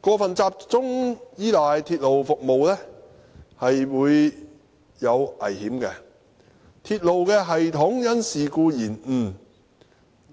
過分集中依賴鐵路服務會有危險，當鐵路系統因事故延誤，